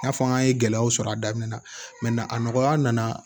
N'a fɔ an ye gɛlɛyaw sɔrɔ a daminɛ na a nɔgɔya nana